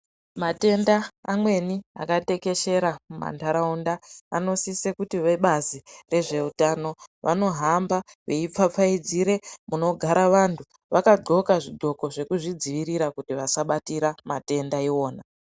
Matenda amweni akatekeshera mumantharaunda, anosise kuti vebazi rezveutano vanohamba veipfapfaidzire munogara vantu ,vakadxoka zvidxoko zvekuzvidziirira kuti vasabatira matenda iwona.